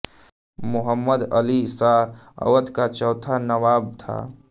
मोहम्मद अली शाह अवध का चौथा नवाब था